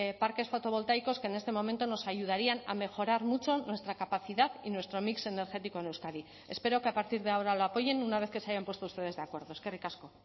parques fotovoltaicos que en este momento nos ayudarían a mejorar mucho nuestra capacidad y nuestro mix energético en euskadi espero que a partir de ahora lo apoyen una vez que se hayan puesto ustedes de acuerdo eskerrik asko